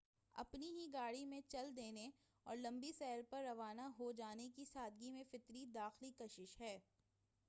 اپنی ہی گاڑی میں چل دینے اور لمبی سیر پر روانہ ہو جانے کی سادگی میں فطری داخلی کشش ہے